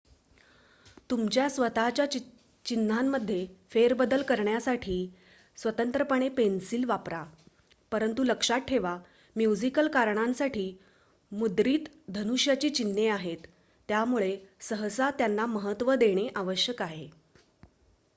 तुमच्या स्वत:च्या चिन्हांमध्ये फेरबदल करण्यासाठी स्वतंत्रपणे पेन्सिल वापरा परंतु लक्षात ठेवा म्युझिकल कारणांसाठी मुद्रित धनुष्याची चिन्हे आहेत त्यामुळे सहसा त्यांना महत्त्व देणे आवश्यक आहे